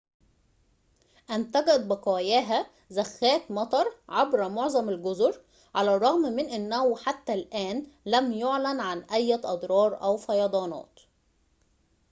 أنتجت بقاياها زخات مطر عبر معظم الجزر على الرغم من أنه حتى الآن لم يُعلن عن أية أضرار أو فيضانات